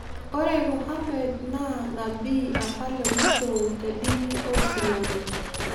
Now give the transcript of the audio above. Ore Muhammed naa nabii apa le muisho tedini oosilamu